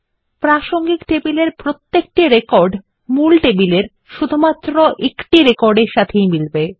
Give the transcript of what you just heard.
প্রাসঙ্গিক টেবিলের প্রত্যেকটি রেকর্ড প্রধান টেবিলের ঠিক একটি রেকর্ড এর সাথেই মিলবে